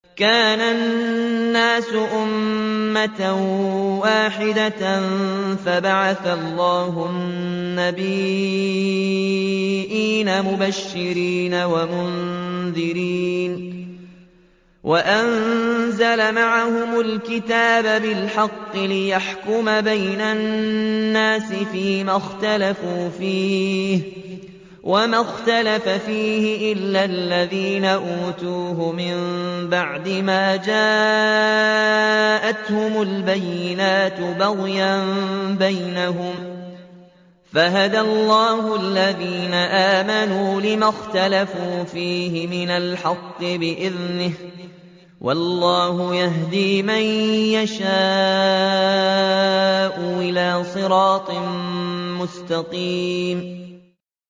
كَانَ النَّاسُ أُمَّةً وَاحِدَةً فَبَعَثَ اللَّهُ النَّبِيِّينَ مُبَشِّرِينَ وَمُنذِرِينَ وَأَنزَلَ مَعَهُمُ الْكِتَابَ بِالْحَقِّ لِيَحْكُمَ بَيْنَ النَّاسِ فِيمَا اخْتَلَفُوا فِيهِ ۚ وَمَا اخْتَلَفَ فِيهِ إِلَّا الَّذِينَ أُوتُوهُ مِن بَعْدِ مَا جَاءَتْهُمُ الْبَيِّنَاتُ بَغْيًا بَيْنَهُمْ ۖ فَهَدَى اللَّهُ الَّذِينَ آمَنُوا لِمَا اخْتَلَفُوا فِيهِ مِنَ الْحَقِّ بِإِذْنِهِ ۗ وَاللَّهُ يَهْدِي مَن يَشَاءُ إِلَىٰ صِرَاطٍ مُّسْتَقِيمٍ